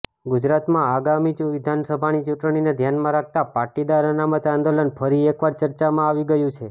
ગુજરાતમાં આગામી વિધાનસભાની ચૂંટણીને ધ્યાનમાં રાખતા પાટીદાર અનામત આંદોલન ફરી એકવાર ચર્ચામાં આવી ગયું છે